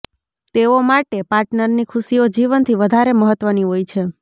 તેઓ માટે પાર્ટનરની ખુશીઓ જીવનથી વધારે મહત્વની હોય છે